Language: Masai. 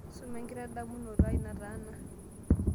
suma enkitadamunoto aai nataana